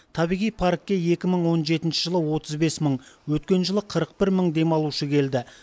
табиғи паркке екі мың он жетінші жылы отыз бес мың өткен жылы қырық бір мың демалушы келді